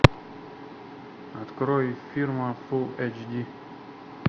открой фирма фулл эйч ди